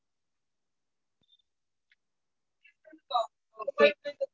Okay